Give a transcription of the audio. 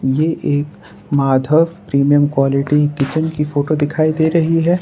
ये एक Madhav premium quality kitchen की फोटो दिखाई दे रही है।